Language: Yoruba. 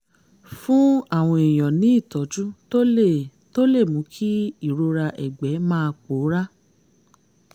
fún àwọn èèyàn ní ìtọ́jú tó lè tó lè mú kí ìrora ẹ̀gbẹ́ máa pòórá